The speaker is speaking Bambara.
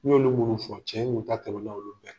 ye olu fɔ cɛn